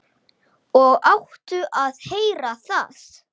Það mátti prófa það.